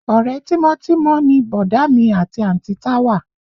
Ọ̀rẹ́ tímọ́tímọ́ ni bọ̀dá mi àti àǹtí Táwà